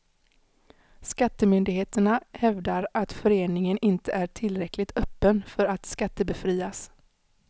Skattemyndigheterna hävdar att föreningen inte är tillräckligt öppen för att skattebefrias.